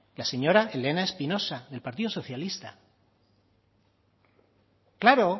la señora elena espinosa del partido socialista claro